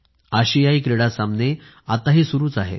आशियाई क्रीडा सामने आत्ताही सुरूच आहेत